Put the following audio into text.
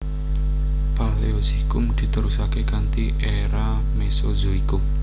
Paleozoikum diterusaké kanthi era Mesozoikum